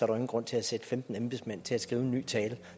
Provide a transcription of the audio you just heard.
nogen grund til at sætte femten embedsmænd til at skrive en ny tale